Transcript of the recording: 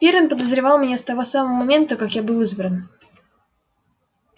пиренн подозревал меня с того самого момента как я был избран